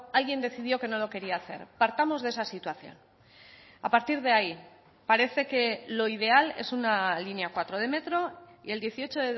alguien decidió que no lo quería hacer partamos de esa situación a partir de ahí parece que lo ideal es una línea cuatro de metro y el dieciocho